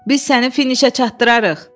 Biz səni finişə çatdırarıq.